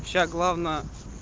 сейчас главное